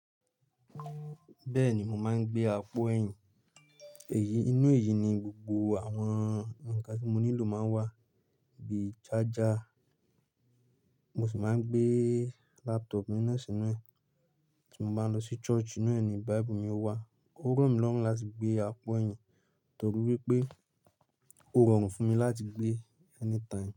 Bẹ́ẹ̀ni, mo máa ń gbé apo ẹ̀yìn. Inú èyí ni gbogbo àwọn ǹkan tí mo nílò máa ń wà bíi charger. Mo sì máa ń gbé laptop mi na sinu e. Tí mo bá ń lọ sí church, inú ẹ̀ ni Bible mi ó wà. Ó rọmi lọ́rùn láti gbé apo ẹ̀yìn torí wípé ó rọrùn fún mi láti gbé anytime.